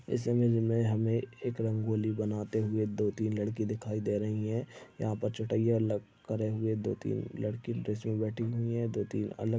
इस इमेज मे हमे एक रंगोली बनाते हुए दो तीन लड़की दिखाई दे रही है यहाँ पर छोटा ये अलग करे हुए दो तीन लड़की बीच मे बैठी हुई है दो तीन अलग--